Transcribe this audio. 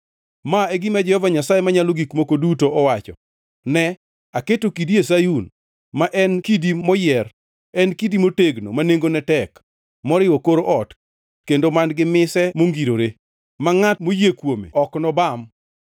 Ma e gima Jehova Nyasaye Manyalo Gik Moko Duto wacho, “Ne, aketo kidi e Sayun, ma en kidi moyier, en kidi motegno, ma nengone tek, moriwo kor ot kendo man-gi mise mongirore; ma ngʼat moyie kuome ok nobam.